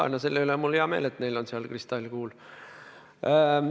Jaa, no selle üle on mul hea meel, et neil on seal kristallkuul.